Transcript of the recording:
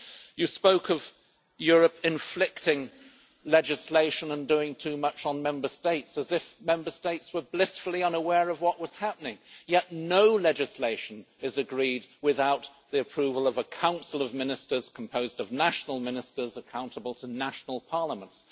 You spoke of Europe inflicting legislation on Member States and doing too much, as if Member States were blissfully unaware of what was happening, yet no legislation is agreed without the approval of the Council of Ministers, composed of national ministers accountable to national parliaments.